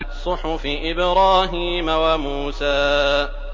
صُحُفِ إِبْرَاهِيمَ وَمُوسَىٰ